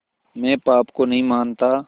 मैं पाप को नहीं मानता